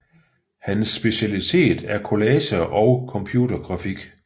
Hans specialitet er collager og computergrafik